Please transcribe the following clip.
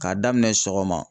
K'a daminɛ sɔgɔma